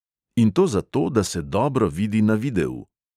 In to zato, da se dobro vidi na videu!